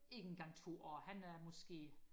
ikke engang to år han er måske